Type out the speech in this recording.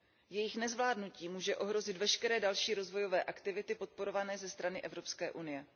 Jejich nezvládnutí může ohrozit veškeré další rozvojové aktivity podporované ze strany Evropské unie.